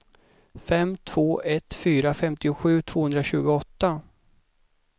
fem två ett fyra femtiosju tvåhundratjugoåtta